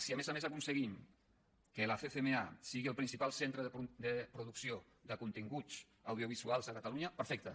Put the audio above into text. si a més a més aconseguim que la ccma sigui el principal centre de producció de continguts audiovisuals a catalunya perfecte